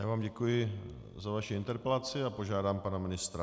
Já vám děkuji za vaši interpelaci a požádám pana ministra.